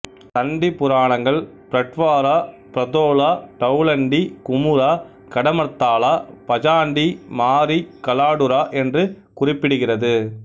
சண்டி புரணாங்கள் பிரட்வாரா பிரதோலா டௌண்டி குமுரா கடமர்தாலா பஜான்டி மாரி கலாடுரா என்று குறிப்பிடுகிறது